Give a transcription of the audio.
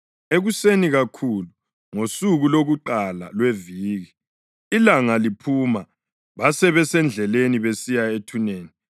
Ekuseni kakhulu ngosuku lokuqala lweviki, ilanga liphuma basebesendleleni besiya ethuneni,